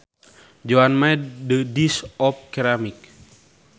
Joan made the dish of ceramic